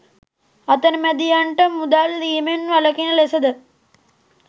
අතරමැදියන්ට මුදල් දීමෙන් වළකින ලෙසද